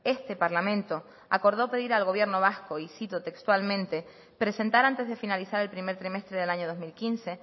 este parlamento acordó pedir al gobierno vasco y cito textualmente presentar antes de finalizar el primer trimestre del año dos mil quince